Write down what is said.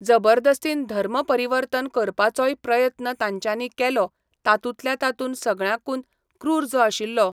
जबरदस्तीन धर्म परिवर्तन करपाचोय प्रयत्न तांच्यानी केलो तातूंतल्या तातून सगळ्यांकून क्रूर जो आशिल्लो